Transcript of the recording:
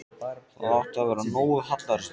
Það átti að vera nógu hallærislegt.